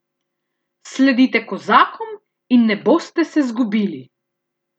Sledite kozakom in ne boste se zgubili!